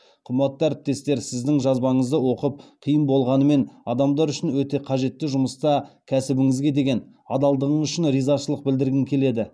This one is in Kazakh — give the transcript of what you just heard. қымбатты әріптес сіздің жазбаңызды оқып қиын болғанымен адамдар үшін өте қажетті жұмыста кәсібіңізге деген адалдығыңыз үшін ризашылық білдіргім келеді